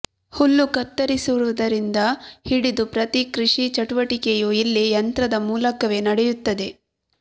ಹುಲ್ಲು ಕತ್ತರಿಸುವುದರಿಂದ ಹಿಡಿದು ಪ್ರತಿ ಕೃಷಿ ಚಟುವಟಿಕೆಯೂ ಇಲ್ಲಿ ಯಂತ್ರದ ಮೂಲಕವೇ ನಡೆಯುತ್ತದೆ